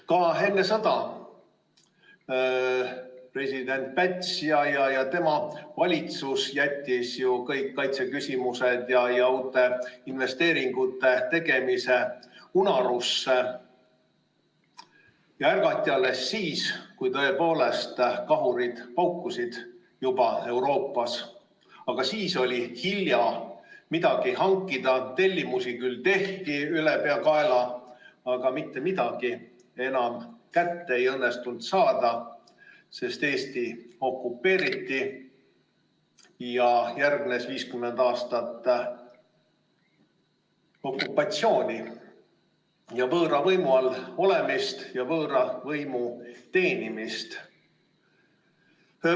Ka enne sõda jätsid ju president Päts ja tema valitsus kõik kaitseküsimused ja uute investeeringute tegemise unarusse ja ärgati alles siis, kui Euroopas juba kahurid paukusid, aga siis oli hilja midagi hankida, tellimusi küll tehti ülepeakaela, aga mitte midagi ei õnnestunud enam kätte saada, sest Eesti okupeeriti ja järgnes 50 aastat okupatsiooni, võõra võimu all olemist ja võõra võimu teenimist.